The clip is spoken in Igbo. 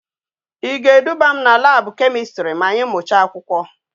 I ga eduga m na lab chemistry ma anyi mucha akwukwo?